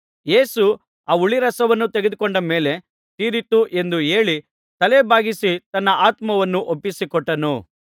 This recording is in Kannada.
ಯೇಸು ಆ ಹುಳಿರಸವನ್ನು ತೆಗೆದುಕೊಂಡ ಮೇಲೆ ತೀರಿತು ಎಂದು ಹೇಳಿ ತಲೆ ಬಾಗಿಸಿ ತನ್ನ ಆತ್ಮವನ್ನು ಒಪ್ಪಿಸಿಕೊಟ್ಟನು